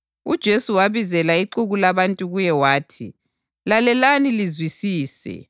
UJesu wabizela ixuku labantu kuye wathi, “Lalelani lizwisise.